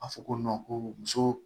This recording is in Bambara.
A fɔ ko ko muso